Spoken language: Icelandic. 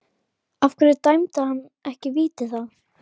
Af hverju dæmdi hann ekki víti þá?